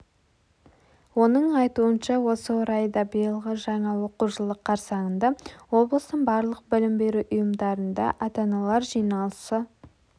оның айтуынша осы орайда биылғы жаңа оқу жылы қарсаңында облыстың барлық білім беру ұйымдарында ата-аналар жиналысы